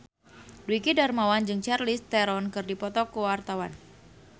Dwiki Darmawan jeung Charlize Theron keur dipoto ku wartawan